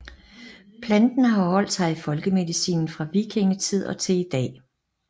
Planten har holdt sig i folkemedicinen fra vikingetid og til i dag